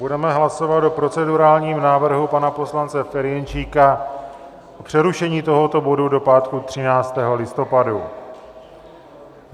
Budeme hlasovat o procedurálním návrhu pana poslance Ferjenčíka o přerušení tohoto bodu do pátku 13. listopadu.